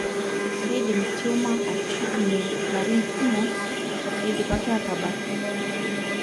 kindim tumor atushukunyie ilarin kumok indipaki ataabak.